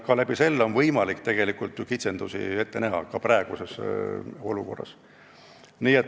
Seeläbi on võimalik kitsendusi ette näha, ka praeguses olukorras.